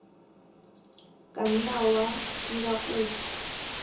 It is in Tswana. ka nna wa dira kopo